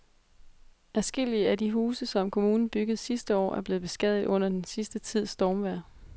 Adskillige af de huse, som kommunen byggede sidste år, er blevet beskadiget under den sidste tids stormvejr.